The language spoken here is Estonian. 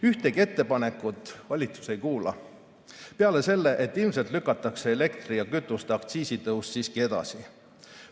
Ühtegi ettepanekut valitsus ei kuula, peale selle, et ilmselt lükatakse elektri‑ ja kütuseaktsiisi tõus siiski edasi.